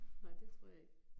Nej, det tror jeg ikke